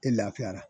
E lafiyara